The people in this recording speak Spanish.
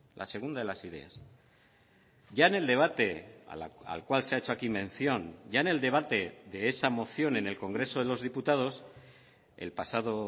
la segunda de las ideas ya en el debate al cual se ha hecho aquí mención ya en el debate de esa moción en el congreso de los diputados el pasado